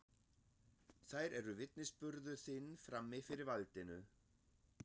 Þær eru vitnisburður þinn frammi fyrir valdinu.